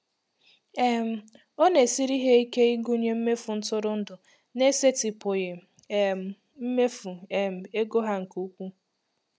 um Ọ na-esiri ha ike ịgụnye mmefu ntụrụndụ n'esetịpụghị um mmefu um ego ha nke ukwuu.